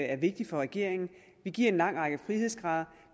er vigtig for regeringen vi giver en lang række frihedsgrader